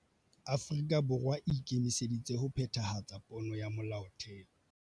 Afrika Borwa e ikemiseditse ho phethahatsa pono ya Molaotheo